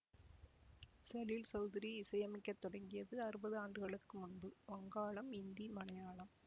சலீல் சௌதுரி இசையமைக்க தொடங்கியது அறுபது ஆண்டுகளுக்கு முன்பு வங்காளம் இந்தி மலையாளம்